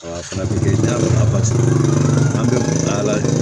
Fana bɛ kɛ da la paseke an bɛ taa la de